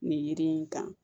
Nin yiri in kan